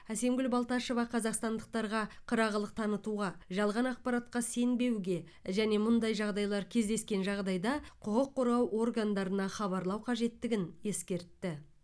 әсемгүл балташева қазақстандықтарға қырағылық танытуға жалған ақпаратқа сенбеуге және мұндай жағдайлар кездескен жағдайда құқық қорғау органдарына хабарлау қажеттігін ескертті